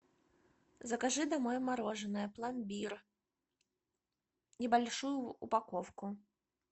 закажи домой мороженое пломбир небольшую упаковку